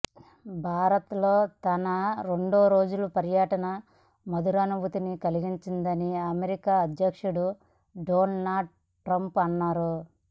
భారత్లో తన రెండు రోజుల పర్యటన మధురానుభూతిని కలిగించిందని అమెరికా అధ్యక్షుడు డొనాల్డ్ ట్రంప్ అన్నారు